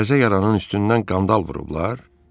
Təzə yaranan üstündən qandal vurublar?